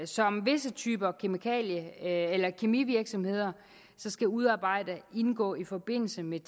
som visse typer kemivirksomheder skal udarbejde indgå i forbindelse med